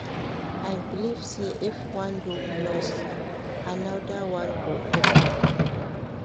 I believe sey if one door close, anoda one go open.